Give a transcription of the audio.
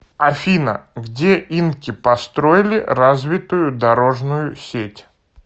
афина где инки построили развитую дорожную сеть